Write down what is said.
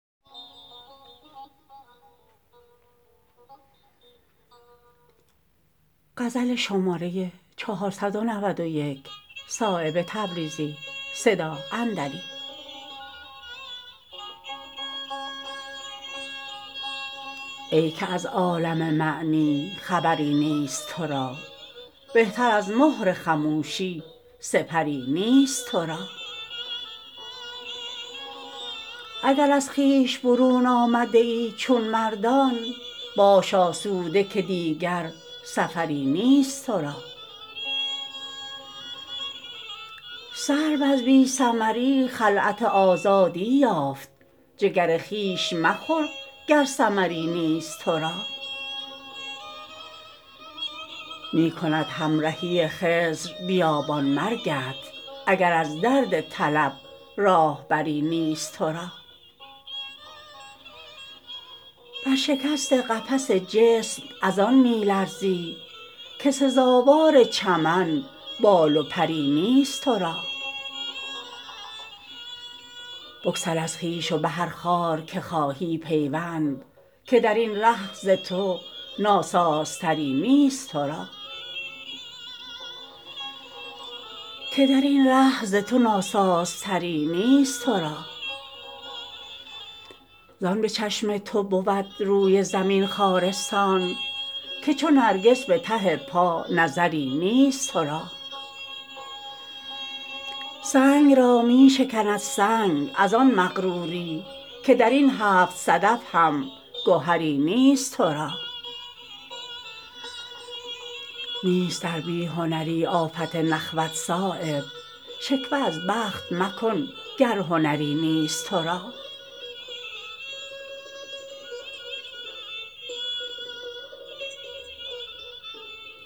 ای که از عالم معنی خبری نیست ترا بهتر از مهر خموشی سپری نیست ترا اگر از خویش برون آمده ای چون مردان باش آسوده که دیگر سفری نیست ترا سرو از بی ثمری خلعت آزادی یافت جگر خویش مخور گر ثمری نیست ترا می کند همرهی خضر بیابان مرگت اگر از درد طلب راهبری نیست ترا بر شکست قفس جسم ازان می لرزی که سزاوار چمن بال و پری نیست ترا بگسل از خویش و به هر خار که خواهی پیوند که درین ره ز تو ناسازتری نیست ترا زان به چشم تو بود روی زمین خارستان که چو نرگس به ته پا نظری نیست ترا سنگ را می شکند سنگ ازان مغروری که درین هفت صدف هم گهری نیست ترا نیست در بی هنری آفت نخوت صایب شکوه از بخت مکن گر هنری نیست ترا